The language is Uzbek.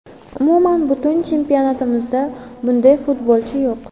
Umuman, butun chempionatimizda bunday futbolchi yo‘q.